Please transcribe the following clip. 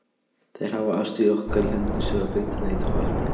Þær hafa ástríður okkar í hendi sér og beita neitunarvaldi.